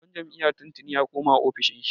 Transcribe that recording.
Shugaban jam'iyya tun tuni ya koma ofishin shi.